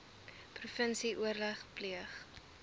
provinsie oorleg pleeg